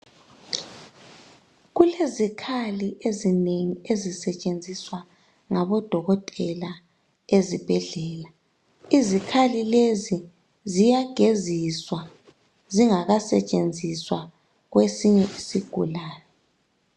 Kulezikhali ezinengi ezisetshenziswa ngabodokotela ezibhedlela. Izikhali lezi ziyageziswa zingakasetshenziswa kwesinye isigulani.